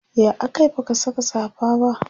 ya akayi baka Saka safa ba?